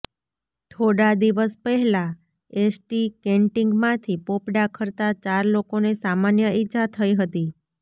થોડા દિવસ પહેલા એસટી કેન્ટિગમાંથી પોપડા ખરતા ચાર લોકોને સામાન્ય ઈજા થઈ હતી